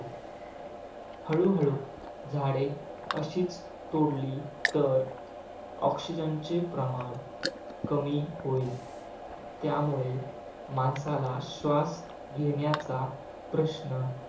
हळूहळू झाडे अशीच तोडली तर oxygen चे प्रमाण कमी होईल त्यामुळे माणसाला श्वास घेण्याचा प्रश्न